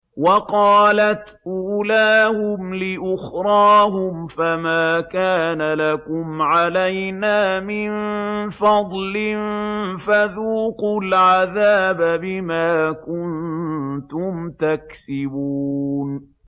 وَقَالَتْ أُولَاهُمْ لِأُخْرَاهُمْ فَمَا كَانَ لَكُمْ عَلَيْنَا مِن فَضْلٍ فَذُوقُوا الْعَذَابَ بِمَا كُنتُمْ تَكْسِبُونَ